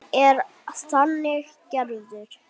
Hann er þannig gerður.